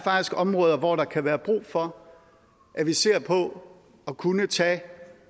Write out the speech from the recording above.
områder hvor der kan være brug for at vi ser på at kunne tage